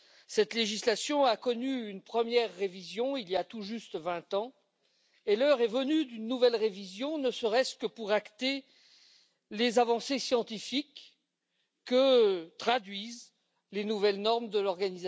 Cette législation a connu une première révision il y a tout juste vingt ans et l'heure est venue d'une nouvelle révision, ne serait ce que pour acter les avancées scientifiques que traduisent les nouvelles normes de l'OMS.